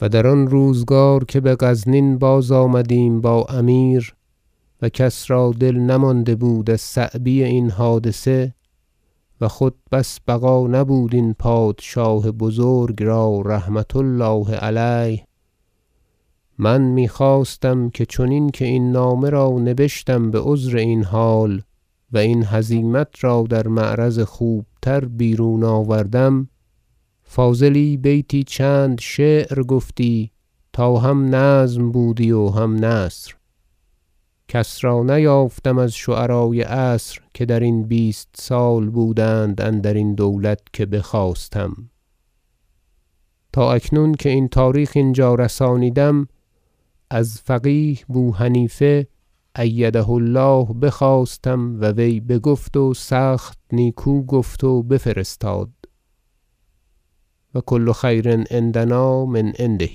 و در آن روزگار که به غزنین بازآمدیم با امیر و کس را دل نمانده بود از صعبی این حادثه و خود بس بقا نبود این پادشاه بزرگ را رحمة الله علیه من می خواستم که چنین که این نامه را نبشتم بعذر این حال و این هزیمت را در معرض خوبتر بیرون آوردم فاضلی بیتی چند شعر گفتی تا هم نظم بودی و هم نثر کس را نیافتم از شعرای عصر که درین بیست سال بودند اندرین دولت که بخواستم تا اکنون که این تاریخ اینجا رسانیدم از فقیه بو حنیفه ایده الله بخواستم و وی بگفت و سخت نیکو گفت و بفرستاد و کل خیر عندنا من عنده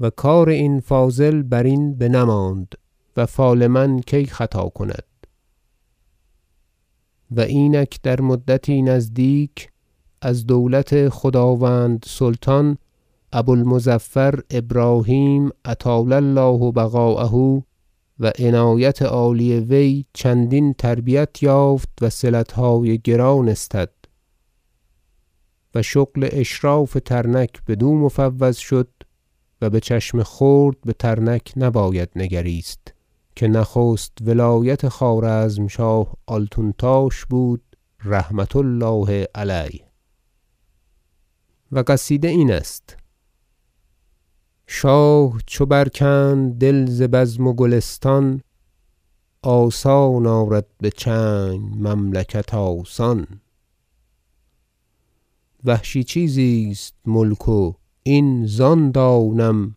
و کار این فاضل برین بنماند و فال من کی خطا کند و اینک در مدتی نزدیک از دولت خداوند سلطان ابو المظفر ابراهیم اطال الله بقاءه و عنایت عالی وی چندین تربیت یافت و صلتهای گران استد و شغل اشراف ترنک بدو مفوض شد و به چشم خرد به ترنک نباید نگریست که نخست ولایت خوارزمشاه آلتونتاش بود رحمة الله علیه و قصیده این است شاه چو بر کند دل ز بزم و گلستان آسان آرد به چنگ مملکت آسان وحشی چیزی است ملک و این زان دانم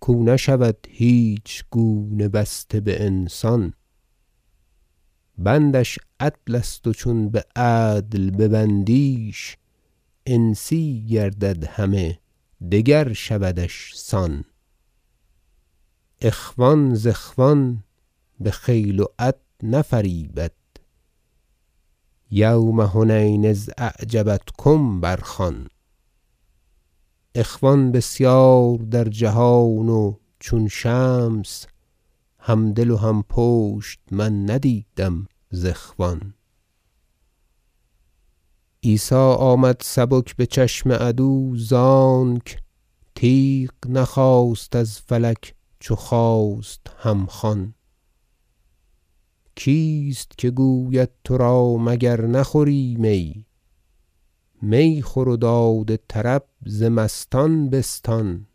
کاو نشود هیچ گونه بسته به انسان بندش عدل است و چون به عدل ببندیش انسی گردد همه دگر شودش سان اخوان ز اخوان به خیل و عد نفریبد یوم حنین اذا عجبتکم بر خوان اخوان بسیار در جهان و چون شمس همدل و هم پشت من ندیدم ز اخوان عیسی آمد سبک به چشم عدو زانک تیغ نخواست از فلک چو خواست هم خوان کیست که گوید ترا مگر نخوری می می خور و داد طرب ز مستان بستان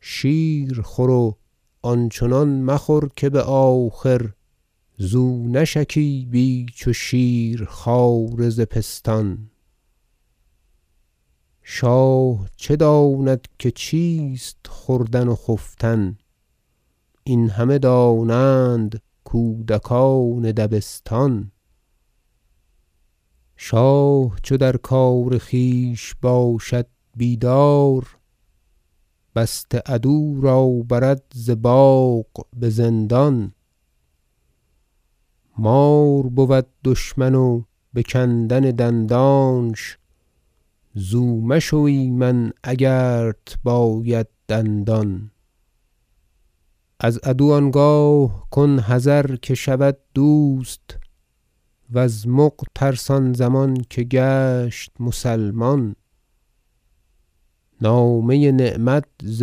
شیر خور و آنچنان مخور که به آخر زو نشکیبی چو شیرخواره ز پستان شاه چه داند که چیست خوردن و خفتن این همه دانند کودکان دبستان شاه چو در کار خویش باشد بیدار بسته عدو را برد ز باغ به زندان مار بود دشمن و به کندن دندانش زو مشو ایمن اگرت باید دندان از عدو آنگاه کن حذر که شود دوست وز مغ ترس آن زمان که گشت مسلمان نامه نعمت ز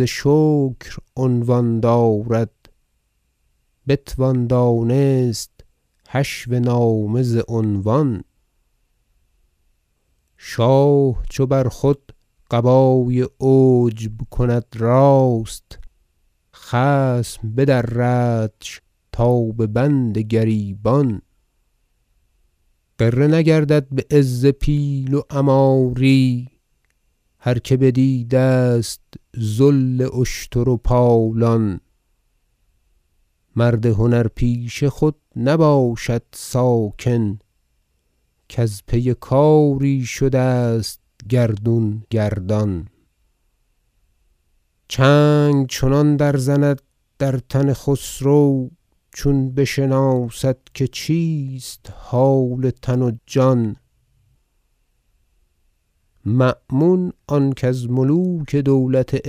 شکر عنوان دارد بتوان دانست حشو نامه ز عنوان شاه چو بر خود قبای عجب کند راست خصم بدردش تا به بند گریبان غره نگردد به عز پیل و عماری هر که بدیده است ذل اشتر و پالان مرد هنر پیشه خود نباشد ساکن کز پی کاری شده است گردون گردان چنگ چنان در زند در تن خسرو چون بشناسد که چیست حال تن و جان مأمون آن کز ملوک دولت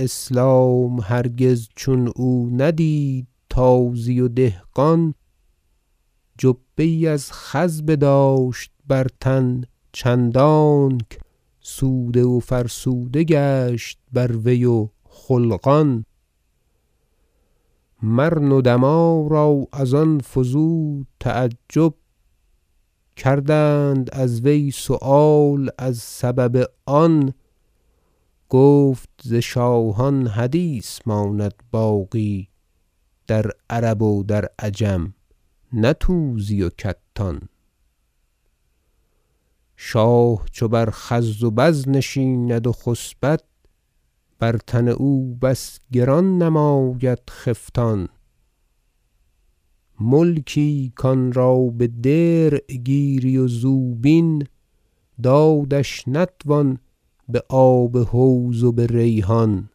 اسلام هرگز چون او ندید تازی و دهقان جبه یی از خز بداشت بر تن چندانک سوده و فرسوده گشت بر وی و خلقان مر ندما را از آن فزود تعجب کردند از وی سؤال از سبب آن گفت ز شاهان حدیث ماند باقی در عرب و در عجم نه توزی و کتان شاه چو بر خز و بز نشیند و خسبد بر تن او بس گران نماید خفتان ملکی کانرا به درع گیری و زوبین دادش نتوان به آب حوض و به ریحان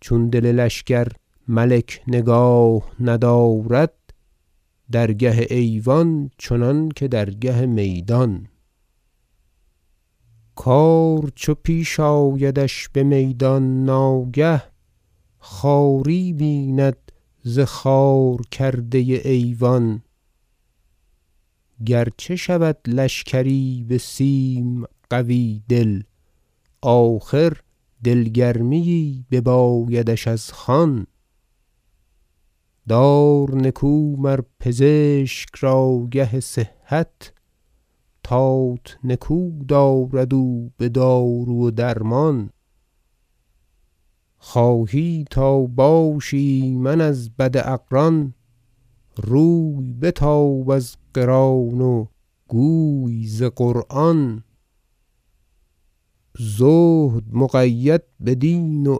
چون دل لشکر ملک نگاه ندارد درگه ایوان چنانکه درگه میدان کار چو پیش آیدش به میدان ناگه خواری بیند ز خوار کرده ایوان گرچه شود لشکری به سیم قوی دل آخر دلگرمی یی ببایدش از خوان دار نکو مر پزشک را گه صحت تات نکو دارد او به دارو و درمان خواهی تا باشی ایمن از بد اقران روی بتاب از قران و گوی ز قرآن زهد مقید به دین و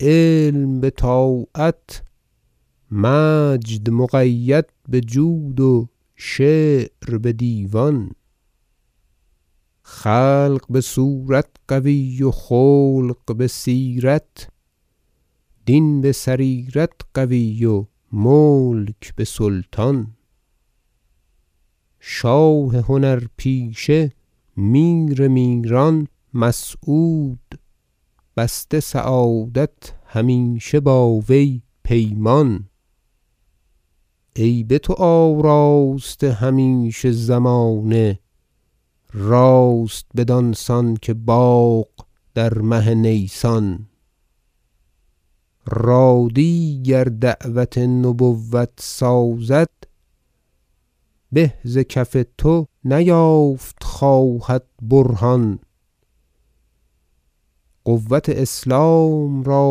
علم به طاعت مجد مقید به جود و شعر به دیوان خلق به صورت قوی و خلق به سیرت دین به سریرت قوی و ملک به سلطان شاه هنر پیشه میر میران مسعود بسته سعادت همیشه با وی پیمان ای به تو آراسته همیشه زمانه راست بدانسان که باغ در مه نیسان رادی گر دعوت نبوت سازد به ز کف تو نیافت خواهد برهان قوت اسلام را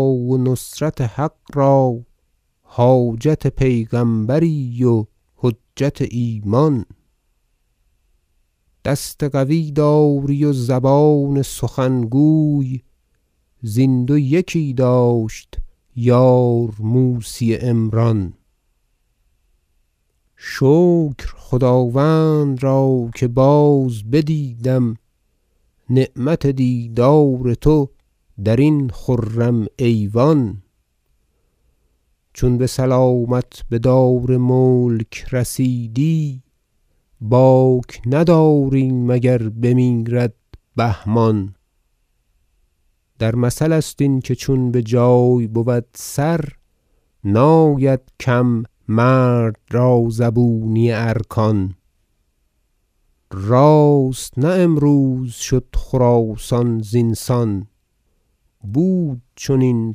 و نصرت حق را حاجت پیغمبری و حجت ایمان دست قوی داری و زبان سخنگوی زین دو یکی داشت یار موسی عمران شکر خداوند را که باز بدیدم نعمت دیدار تو درین خرم ایوان چون به سلامت به دار ملک رسیدی باک نداریم اگر بمیرد بهمان در مثل است این که چون بجای بود سر ناید کم مرد را زبونی ارکان راست نه امروز شد خراسان زین سان بود چنین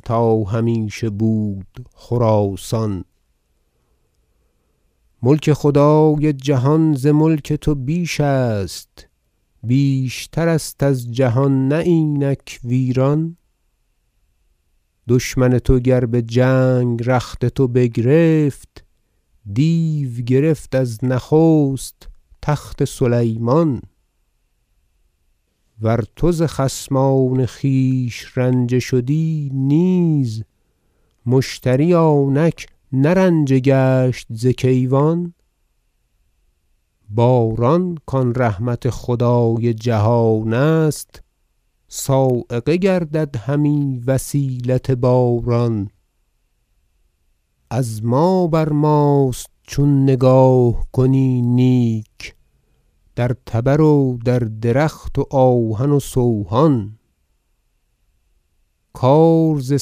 تا همیشه بود خراسان ملک خدای جهان ز ملک تو بیش است بیشتر است از جهان نه اینک ویران دشمن تو گر به جنگ رخت تو بگرفت دیو گرفت از نخست تخت سلیمان ور تو ز خصمان خویش رنجه شدی نیز مشتری آنک نه رنجه گشت ز کیوان باران کان رحمت خدای جهان است صاعقه گردد همی وسیلت باران از ما بر ماست چون نگاه کنی نیک در تبر و در درخت و آهن و سوهان کار ز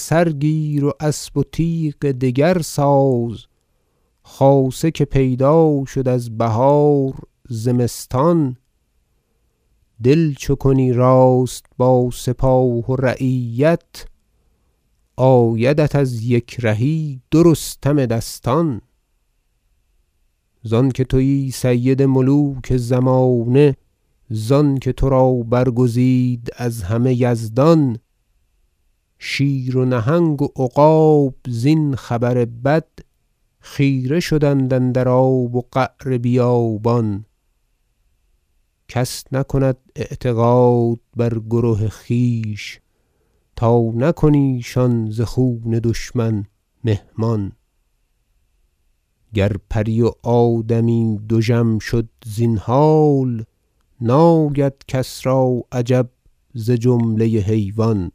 سر گیر و اسب و تیغ دگر ساز خاصه که پیدا شد از بهار زمستان دل چو کنی راست با سپاه و رعیت آیدت از یک رهی دو رستم دستان زانکه تویی سید ملوک زمانه زانکه ترا برگزید از همه یزدان شیر و نهنگ و عقاب زین خبر بد خیره شدند اندر آب و قعر بیابان کس نکند اعتقاد بر کره خویش تا نکنی شان ز خون دشمن مهمان گر پری و آدمی دژم شد زین حال ناید کس را عجب ز جمله حیوان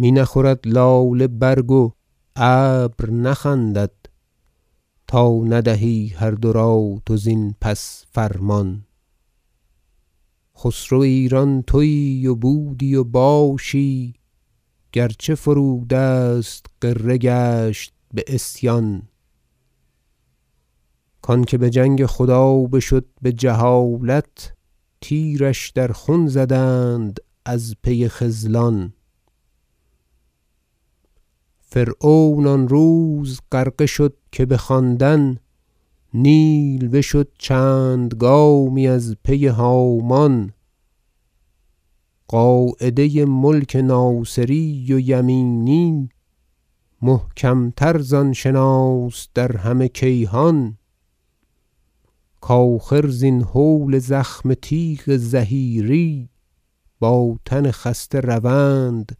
می نخورد لاله برگ و ابر نخندد تا ندهی هر دو را تو زین پس فرمان خسرو ایران تویی و بودی و باشی گرچه فرو دست غره گشت به عصیان کانکه به جنگ خدا بشد به جهالت تیرش در خون زدند از پی خذلان فرعون آن روز غرقه شد که به خواندن نیل بشد چند گامی از پی هامان قاعده ملک ناصری و یمینی محکم تر زان شناس در همه کیهان کاخر زین هول زخم تیغ ظهیری با تن خسته روند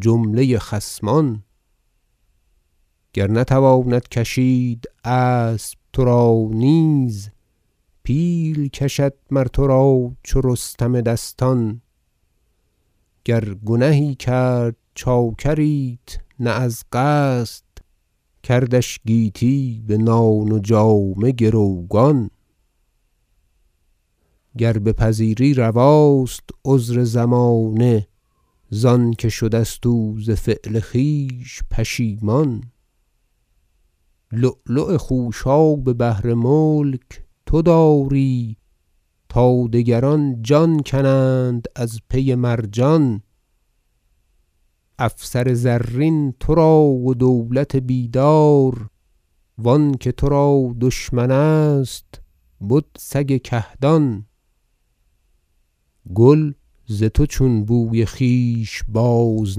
جمله خصمان گر نتواند کشید اسب ترا نیز پیل کشد مر ترا چو رستم دستان گر گنهی کرد چاکریت نه از قصد کردش گیتی به نان و جامه گروگان گر بپذیری رواست عذر زمانه زانکه شده است او ز فعل خویش پشیمان لؤلؤ خوشاب بحر ملک تو داری تا دگران جان کنند از پی مرجان افسر زرین ترا و دولت بیدار و آنکه ترا دشمن است بدسگ کهدان گل ز تو چون بوی خویش باز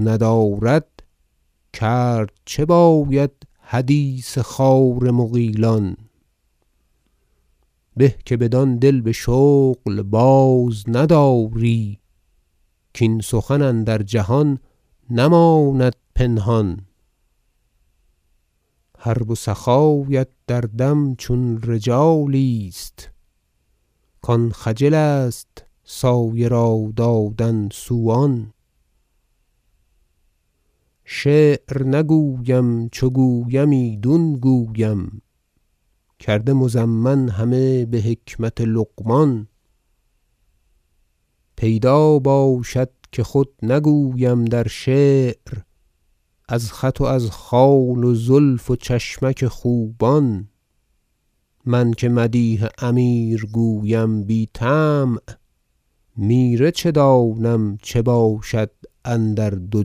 ندارد کرد چه باید حدیث خار مغیلان به که بدان دل به شغل باز نداری کاین سخن اندر جهان نماند پنهان حرب و سخایست در دم چون رجالی ست کان خجل است سایه را دادن سوان شعر نگویم چو گویم ایدون گویم کرده مضمن همه به حکمت لقمان پیدا باشد که خود نگویم در شعر از خط و از خال و زلف و چشمک خوبان من که مدیح امیر گویم بی طمع میره چه دانم چه باشد اندر دو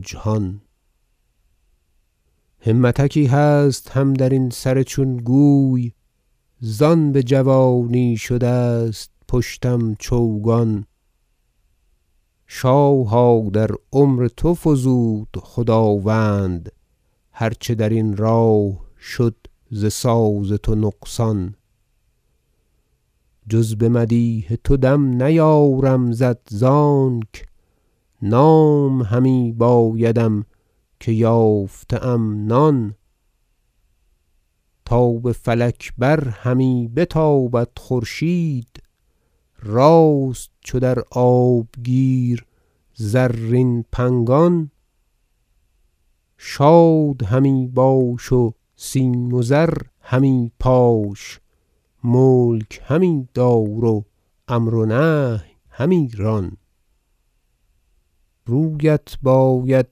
جهان همتکی هست هم درین سر چون گوی زان به جوانی شده است پشتم چوگان شاها در عمر تو فزود خداوند هر چه درین راه شد ز ساز تو نقصان جز به مدیح تو دم نیارم زد زانک نام همی بایدم که یافته ام نان تا به فلک بر همی بتابد خورشید راست چو در آبگیر زرین پنگان شاد همی باش و سیم و زر همی پاش ملک همی دار و امر و نهی همی ران رویت باید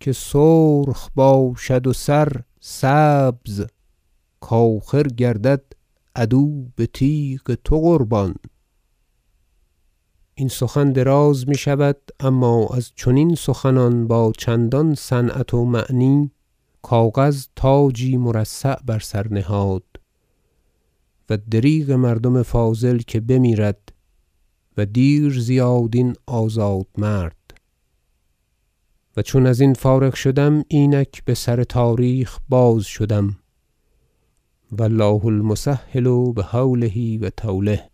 که سرخ باشد و سرسبز که آخر گردد عدو به تیغ تو قربان این سخن دراز میشود اما از چنین سخنان با چندان صنعت و معنی کاغذ تاجی مرصع بر سر نهاد و دریغ مردم فاضل که بمیرد و دیر زیاد این آزاد مرد و چون ازین فارغ شدم اینک بسر تاریخ باز شدم و الله المسهل بحوله و طوله